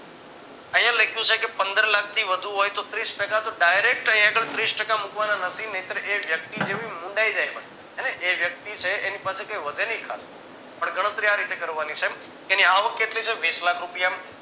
અહીંયા લખ્યું છે પંદર લાખ થી વધુ હોય તો ત્રીસ ટકા તો dairect અહીં આગળ ત્રીસ ટાકા મૂકવાના નથી નહીંતર એ વ્યક્તિ જેવી મુન્ડાઈ જાય અને એ વ્યક્તિ છે એની પાસે કઈ વધે ની ખાસ પણ ગણતરી આ રીતે કરવાની છે એની આવક કેટલી છે વીસલાખ રૂપિયા